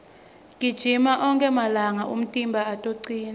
gijima onkhe malanga umtimba utocina